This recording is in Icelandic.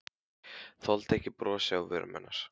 Þoldi ekki brosið á vörum hennar.